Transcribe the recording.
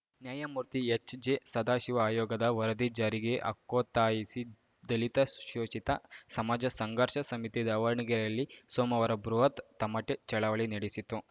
ನ್ಯಾಯಮೂರ್ತಿ ಎಚ್ಜೆಸದಾಶಿವ ಆಯೋಗದ ವರದಿ ಜಾರಿಗೆ ಹಕ್ಕೊತ್ತಾಯಿಸಿ ದಲಿತ ಶೋಷಿತ ಸಮಾಜ ಸಂಘರ್ಷ ಸಮಿತಿ ದಾವಣಗೆರೆಯಲ್ಲಿ ಸೋಮವಾರ ಬೃಹತ್‌ ತಮಟೆ ಚಳವಳಿ ನಡೆಸಿತು